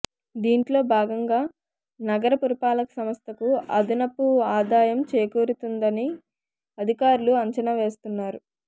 దీంట్లో భాగంగా నగర పురపాలక శాఖకు అదనపు ఆదాయం చేకూరుతుందని అదికారులు అంచనా వేస్తున్నారు